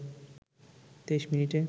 ২৩ মিনিটে